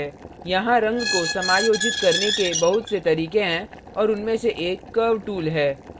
यहाँ रंग को समायोजित करने के बहुत से तरीके हैं और उनमें से एक curve tool है